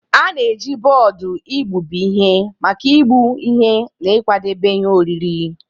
A na-eji bọọdụ igbubi ihe maka igbụ ihe na ịkwadebe ihe oriri.